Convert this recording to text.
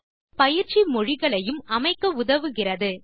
மேலும் பயிற்சி மொழியையும் அமைக்க உதவுகிறது